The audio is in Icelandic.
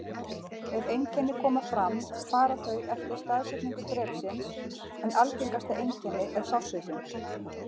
Ef einkenni koma fram fara þau eftir staðsetningu drepsins, en algengasta einkenni er sársauki.